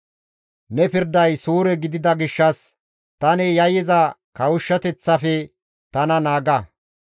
Ne pirday suure gidida gishshas tani yayyiza kawushshateththafe tana naaga.